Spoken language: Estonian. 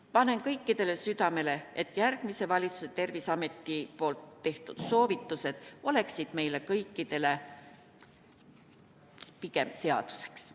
Panen kõikidele südamele, et järgmised valitsuse ja Terviseameti poolt tehtud soovitused oleksid meile kõikidele pigem seaduseks.